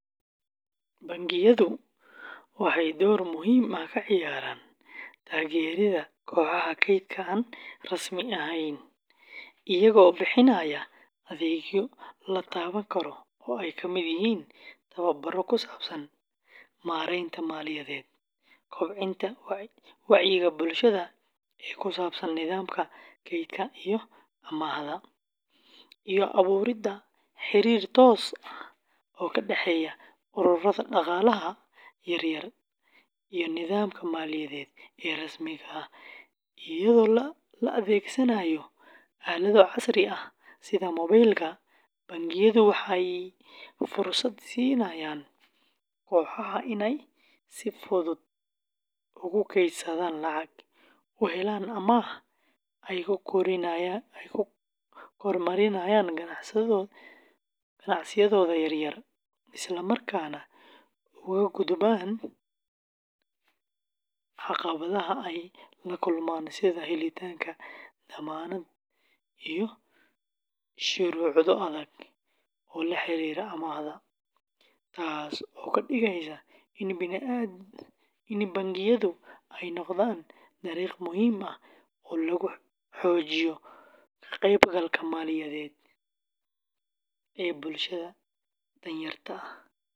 Bangiyadu waxay door muhiim ah ka ciyaaraan taageeridda kooxaha kaydka aan rasmi ahayn iyagoo bixinaya adeegyo la taaban karo oo ay ka mid yihiin tababarro ku saabsan maaraynta maaliyadeed, kobcinta wacyiga bulshada ee ku saabsan nidaamka kaydka iyo amaahda, iyo abuuridda xiriir toos ah oo ka dhexeeya ururrada dhaqaalaha yaryar iyo nidaamka maaliyadeed ee rasmiga ah; iyadoo la adeegsanayo aalado casri ah sida mobaylka, bangiyadu waxay fursad siinayaan kooxahan inay si fudud ugu kaydsadaan lacag, u helaan amaah ay ku horumariyaan ganacsiyadooda yaryar, isla markaana uga gudbaan caqabadaha ay la kulmaan sida helitaanka dammaanad iyo shuruudo adag oo la xiriira amaahda; taas oo ka dhigaysa in bangiyadu ay noqdaan dariiq muhiim ah oo lagu xoojiyo ka-qaybgalka maaliyadeed ee bulshada danyarta ah.